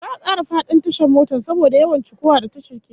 Za'a kara fadin tashar motan saboda yawan cikowa da tashar ke yi